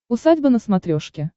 усадьба на смотрешке